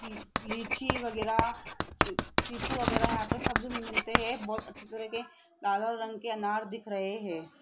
की लीची वगैरा चि चिकू वगैरा यहां पे सब मिलते हैं बहोत अच्छी तरह के लाल लाल रंग के अनार दिख रहे हैं।